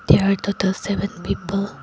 there are that the seven people.